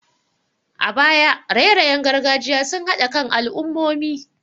A baya, raye-rayen gargajiya sun haɗa kan al'ummomi.